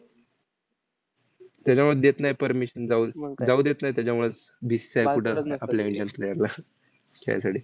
त्याच्यामुळंच देत नाहीत permission जाऊ जाऊ देत नाहीत त्याच्यामुळंच BCCI कुठं आपल्या indian player ला खेळासाठी.